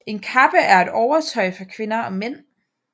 En kappe er et overtøj for kvinder og mænd